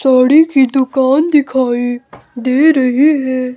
चौड़ी सी दुकान दिखाई दे रही है।